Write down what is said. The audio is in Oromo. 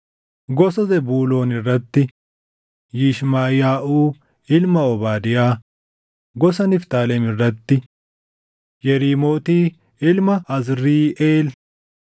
gosa Zebuuloon irratti: Yishmaʼiyaaʼuu ilma Obaadiyaa; gosa Niftaalem irratti: Yeriimooti ilma Azriiʼeel;